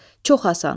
Çox asan.